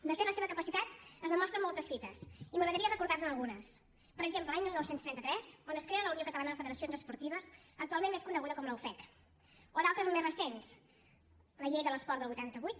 de fet la seva capacitat es demostra en moltes fites i m’agradaria recordar ne algunes per exemple l’any dinou trenta tres quan es crea la unió catalana de federacions esportives actualment més coneguda com la ufec o d’altres més recents la llei de l’esport del vuitanta vuit